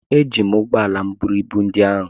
eji m ụgbọ ala m buru ibu ndị a